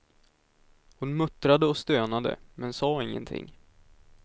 Hon muttrade och stönade, men sa ingenting.